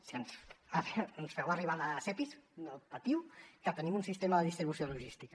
si ens feu arribar els epis no patiu que tenim un sistema de distribució logística